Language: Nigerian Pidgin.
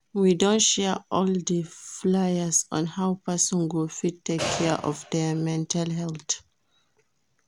We don share all the fliers on how person go fit take care of their mental health